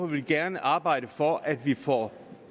vi gerne arbejde for at vi får